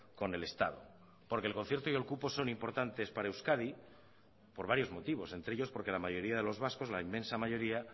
con el estado porque el concierto y el cupo son importantes para euskadi por varios motivos entre ellos porque la mayoría de los vascos la inmensa mayoría